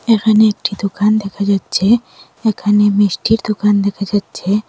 এখানে একটি দোকান দেখা যাচ্ছে এখানে মিষ্টির দোকান দেখা যাচ্ছে।